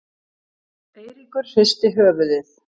Eiríkur hristi höfuðið.